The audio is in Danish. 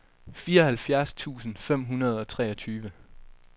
fireoghalvfjerds tusind fem hundrede og treogtyve